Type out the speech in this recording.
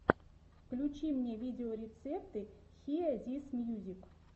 включи мне видеорецепты хиэ зис мьюзик